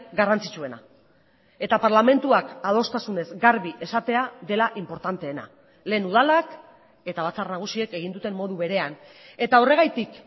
garrantzitsuena eta parlamentuak adostasunez garbi esatea dela inportanteena lehen udalak eta batzar nagusiek egin duten modu berean eta horregatik